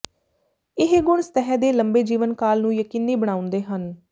ਇਹ ਗੁਣ ਸਤਹ ਦੇ ਲੰਬੇ ਜੀਵਨ ਕਾਲ ਨੂੰ ਯਕੀਨੀ ਬਣਾਉਂਦੇ ਹਨ